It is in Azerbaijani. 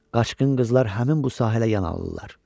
Qaçqın qızlar həmin bu sahələ yan alınırlar.